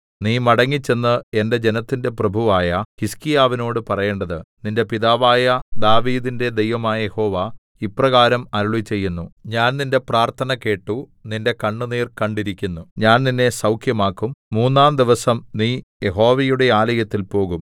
നീ മടങ്ങിച്ചെന്ന് എന്റെ ജനത്തിന്റെ പ്രഭുവായ ഹിസ്കീയാവിനോട് പറയേണ്ടത് നിന്റെ പിതാവായ ദാവീദിന്റെ ദൈവമായ യഹോവ ഇപ്രകാരം അരുളിച്ചെയ്യുന്നു ഞാൻ നിന്റെ പ്രാർത്ഥന കേട്ടു നിന്റെ കണ്ണുനീർ കണ്ടിരിക്കുന്നു ഞാൻ നിന്നെ സൗഖ്യമാക്കും മൂന്നാംദിവസം നീ യഹോവയുടെ ആലയത്തിൽ പോകും